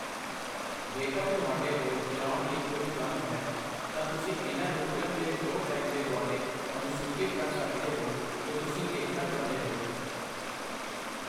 ਜੇਕਰ ਤੁਹਾਡੇ ਕੋਲ ਚਲਾਉਣ ਲਈ ਕੁਝ ਕੰਮ ਹਨ, ਤਾਂ ਤੁਸੀਂ ਇਹਨਾਂ ਨੂੰ ਫਿਲਮ ਦੇ ਸ਼ੋਅ ਟਾਈਮ ਦੇ ਦੁਆਲੇ ਅਨੁਸੂਚਿਤ ਕਰ ਸਕਦੇ ਹੋ ਜੋ ਤੁਸੀਂ ਦੇਖਣਾ ਚਾਹੁੰਦੇ ਹੋ।